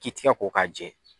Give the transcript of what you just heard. K'i tigɛ ko k'a jɛ.